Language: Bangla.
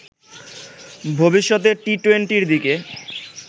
ভবিষ্যতে টি-টোয়েন্টির দিকে